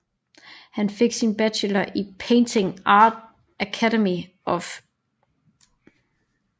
Han fik sin Bachelor i Painting Art Academy of Szczecin